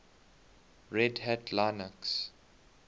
red hat linux